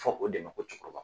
Fɔ o de ma ko cɛkɔrɔba